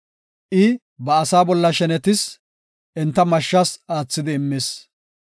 I ba asaa bolla shenetis; enta mashshas aathidi immis.